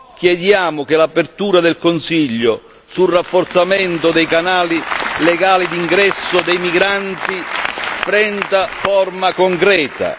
Chiediamo che l'apertura del Consiglio sul rafforzamento dei canali legali di ingresso dei migranti prenda forma concreta.